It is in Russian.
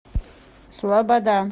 слобода